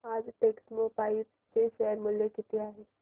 आज टेक्स्मोपाइप्स चे शेअर मूल्य किती आहे